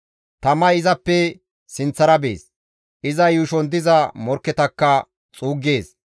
Tamay izappe sinththara bees; iza yuushon diza morkketakka xuuggees.